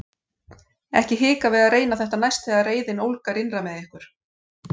Ekki hika við að reyna þetta næst þegar reiðin ólgar innra með ykkur!